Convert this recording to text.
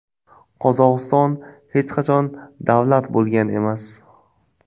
Qozog‘iston hech qachon davlat bo‘lgan emas.